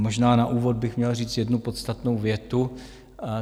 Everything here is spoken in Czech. Možná na úvod bych měl říct jednu podstatnou větu.